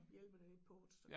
Hjælper det lidt på det